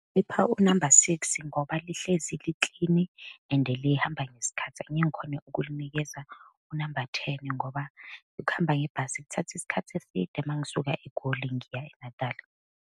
u-number six ngoba lihlezi liklini and lihamba ngesikhathi. Angeke ngikhone ukulinikeza u-number ten ngoba ukuhamba ngebhasi kuthatha isikhathi eside uma ngisuka eGoli ngiya eNatali.